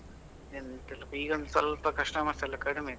ಎಂತ್ ಇಲ್ಲಾ, ಈಗ ಒಂದ್ ಸ್ವಲ್ಪ customers ಎಲ್ಲಾ ಕಡಿಮೆ.